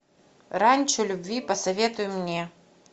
ранчо любви посоветуй мне